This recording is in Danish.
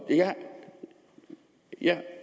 jeg